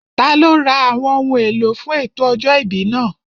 Taló ra àwọn ohun èlò fún ètò ọjọ́ ìbí náà?